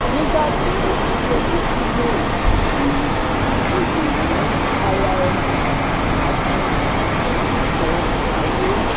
Nigba ti mo ti tẹlẹ dealing wih ki Elo ni ara ẹni ati ọjọgbọn aye